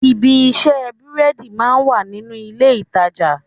Ibi ìṣe búrẹ́dì máa ń wà nínú ilé-ìtàjà